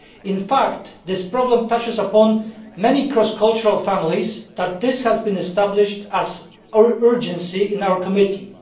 In fact this problem touches upon so many cross cultural families that this has been established as a matter of urgency in our committee.